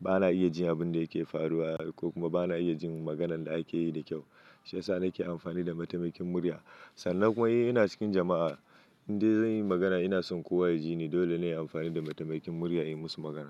bana iya jin abin da yake faruwa ko kuma bana iya jin maganan da ake yi da kyau. Shi ya sa nake amfani da mataimakin murya. Sannan kuma in ina cikin jama'a inda zan yi magana ina son kowa ya jini. Dole ne in yi amfani da mataimakin murya in musu magana.